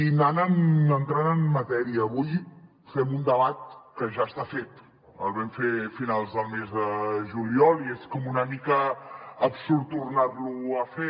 i anant entrant en matèria avui fem un debat que ja està fet el vam fer a finals del mes de juliol i és com una mica absurd tornar lo a fer